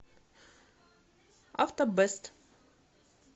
автобэст